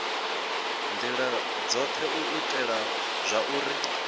ndila dzothe u itela zwauri